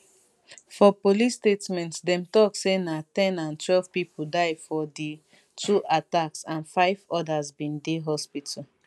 for police statement dem tok say na ten and twelve pipo die for di two attacks and five odas bin dey hospital